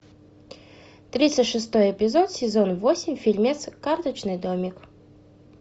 тридцать шестой эпизод сезон восемь фильмец карточный домик